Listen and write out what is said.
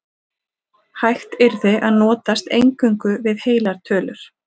Hægt yrði að notast eingöngu við heilar tölur.